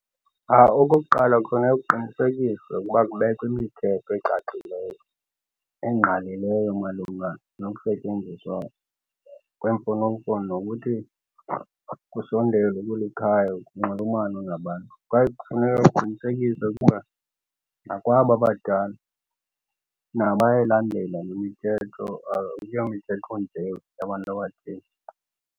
Okokuqala, kufuneke kuqinisekiswe ukuba kubekwa imithetho ecacileyo engqalileyo malunga nokusetyenziswa kwemfonomfono, nokuthi kusondezwe kweli khaya kunxulumanwe ngabantu. Kwaye kufuneka kuqinisekiswe ukuba nakwaba abadala nabo bayayilandela le mithetho akuyo mithetho nje yabantu abathile.